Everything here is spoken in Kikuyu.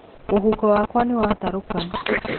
Mũhuko wakwa nĩwatarũka.